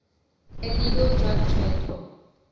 illegal drug trade